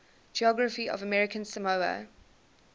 geography of american samoa